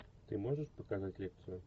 ты можешь показать лекцию